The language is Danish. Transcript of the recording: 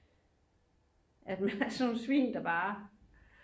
at man er sådan nogel svin der bare